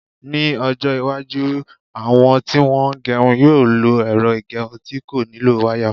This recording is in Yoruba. Ní ọjọ́-iwájú, àwọn tí wọ́n ń gerun yóò lo ẹ̀rọ ìgẹrun tí kò nílò wáyà.